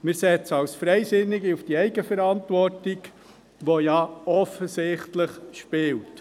Wir setzen als Freisinnige auf die Eigenverantwortung, die ja offensichtlich spielt.